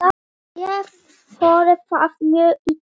Ég þoli það mjög illa.